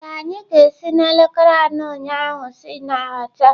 Ee, anyị ga-esi n'elekere anọ ụnyaahụ si na họtel*